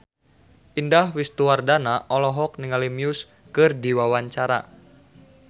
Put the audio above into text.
Indah Wisnuwardana olohok ningali Muse keur diwawancara